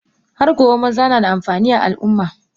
Hargobe maza nada amfani a Al umma.